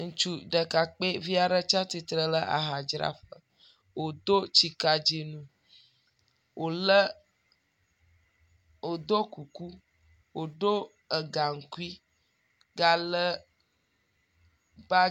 Ŋutsu ɖekakpoevi aɖe tsi atsitrɛ ɖe ahadzraƒe wòdo tsikadzi nu, wòlé wòdo kuku wòdo egaŋkui galé ba...